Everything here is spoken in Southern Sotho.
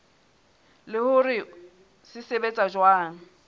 le hore se sebetsa jwang